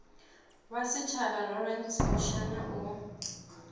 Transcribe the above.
wa setjhaba lawrence mushwana o